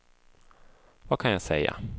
vad kan jag säga